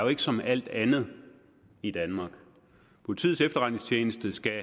som alt andet i danmark politiets efterretningstjeneste skal